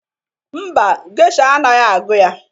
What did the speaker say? Mba, gesha anaghị agụ ya